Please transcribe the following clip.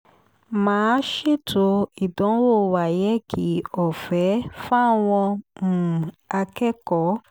má a ṣètò ìdánwò wáyéèkì ọ̀fẹ́ fáwọn um akẹ́kọ̀ọ́